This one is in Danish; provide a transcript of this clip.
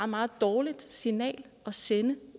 meget dårligt signal at sende